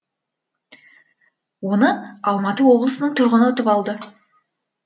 оны алматы облысының тұрғыны ұтып алды